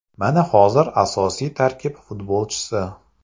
Mana hozir asosiy tarkib futbolchisi.